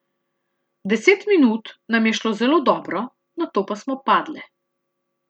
Deset minut nam je šlo zelo dobro, nato pa smo padle.